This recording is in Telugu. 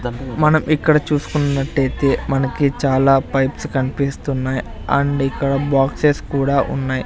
మనం ఇక్కడ చూస్కున్నట్టైతే మనకి చాలా పైప్స్ కన్పిస్తున్నాయ్ అండ్ ఇక్కడ బాక్సెస్ కూడా ఉన్నాయ్.